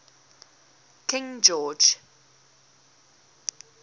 king george